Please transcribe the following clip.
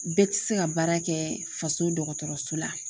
Bɛɛ tɛ se ka baara kɛ faso dɔgɔtɔrɔso la